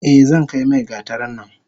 Eh zankai mai gatarin nan.